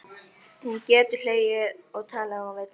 Hún getur hlegið og talað ef hún vill.